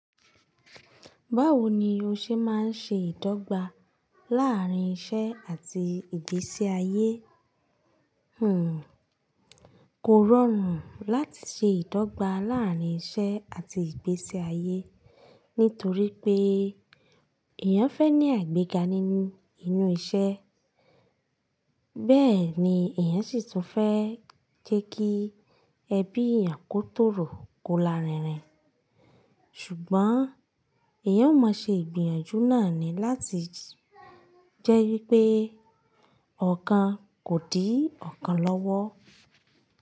Báwo ni o ṣe máa ń ṣe ìdọ́gba láàárín iṣẹ́ àti ìgbésí ayé? Kò rọrùn láti ṣe ìdọ́gba láàárín iṣẹ́ àti ìgbésí ayé, nítorí pé ìyẹn fẹ́ ní àìgbẹ́ga nínú, nínú iṣẹ́. Bẹ́ẹ̀ni ìyẹn sì tún fẹ́ jẹ́ kí ẹbí èèyàn kó tòrò kó la rírín. Ṣùgbọ́n èèyàn ó mọ ṣe ìgbìyànjú náà ni láti jẹ́ wípé ọ̀kan kò di ọ̀kan lọ́wọ́.